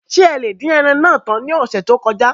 Ṣé ẹ lè dín ẹran náà tán ní ọ̀sẹ̀ tí ó kọjá?